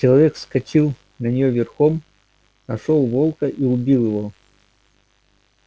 человек вскочил на неё верхом нашёл волка и убил его